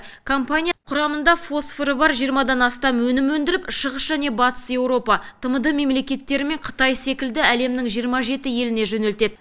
компания құрамында фосфоры бар жиырмадан астам өнім өндіріп шығыс және батыс еуропа тмд мемлекеттері мен қытай секілді әлемнің жиырма жеті еліне жөнелтеді